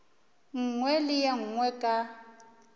nngwe le ye nngwe ka